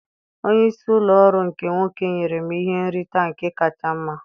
Onye isi ụlọ ọrụ nke nwoke nyere m ihe nrite nke kacha mma